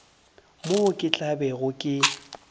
moo ke tla bego ke